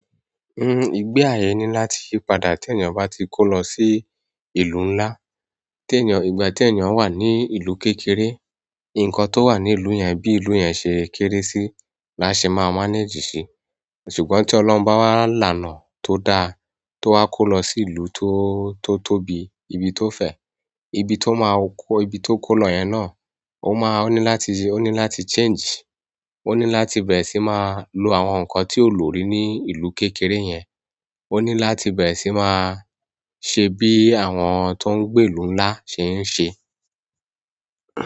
Igbe ayé ni láti yípadà ti èeyàn bá ti kó lọ sí ìlú nlá. Tèeyàn, ìgbà tèeyàn wà ní ìlú kékeré, nǹkan tó wà ní ìlú yẹn, bí ìlú yẹn ṣe kéré sí, la ṣe máa "manage" ṣi. Ṣùgbọ́n tí Ọlọ́run bá wá laná tó dá, tó wá kó lọ sí ìlú tó, tó tóbi, ibi tó fẹ̀, ibi tó máa kó, ibi tó kó lọ yẹn náà, ó máa ní láti, ó ní láti "change". Ó ní láti bẹ̀rẹ̀ sí máa lo àwọn nǹkan tí ò lò rí ní ìlú kékeré yẹn. Ó ní láti bẹ̀rẹ̀ sí máa ṣe bí àwọn tó ń gbé ìlú nlá ṣe ń ṣe.